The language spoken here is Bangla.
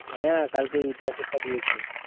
হ্যাঁ কালকে ইতিহাসের টা দিয়েছে।